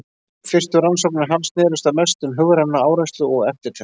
Fyrstu rannsóknir hans snerust að mestu um hugræna áreynslu og eftirtekt.